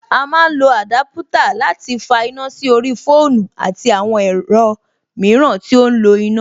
A má ń lọ àdúpútà láti fa iná sí orí fóònù àti àwọn ẹ̀rọ mìíràn tí ó ń lo iná.